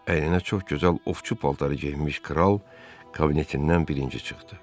Əyninə çox gözəl ovçu paltarı geyinmiş kral kabinetindən birinci çıxdı.